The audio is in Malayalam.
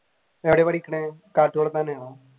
എവിടെയാ പഠിക്കുന്നത് തന്നെയാ?